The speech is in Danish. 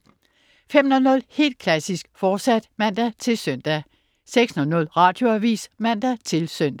05.00 Helt klassisk, fortsat (man-søn) 06.00 Radioavis (man-søn)